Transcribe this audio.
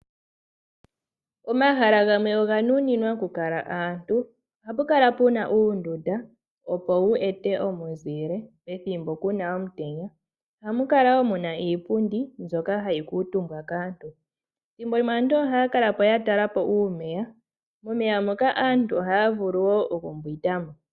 Omahala gamwe oga nuninwa okukala aantu. Ohapu kala puna uundunda. Opo wu ete omuzile pethimbo puna omutenya. Ohamu kala muna wo iipundi mbyoka hayi kuutumbwa kaantu. Thimbolimwe aantu ohaya kala ya tala po uumeya. Momeya moka aantu ohaa vulu wo okumbwinda mo.